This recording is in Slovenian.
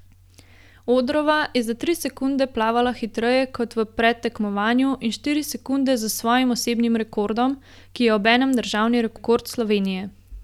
Odrova je za tri sekunde plavala hitreje kot v predtekmovanju, in štiri sekunde za svojim osebnim rekordom, ki je obenem državni rekord Slovenije.